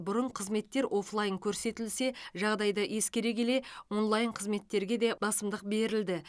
бұрын қызметтер офлайн көрсетілсе жағдайды ескере келе онлайн қызметтерге де басымдық берілді